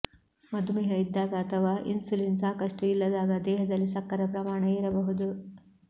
ಮಧುಮೇಹ ಇದ್ದಾಗ ಅಥವಾ ಇನ್ಸುಲಿನ್ ಸಾಕಷ್ಟು ಇಲ್ಲದಾಗ ದೇಹದಲ್ಲಿ ಸಕ್ಕರೆ ಪ್ರಮಾಣ ಏರಬಹುದು